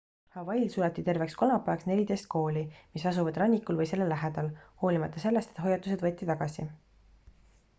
hawaiil suleti terveks kolmapäevaks 14 kooli mis asuvad rannikul või selle lähedal hoolimata sellest et hoiatused võeti tagasi